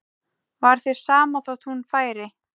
Var þér sama þótt hún færi?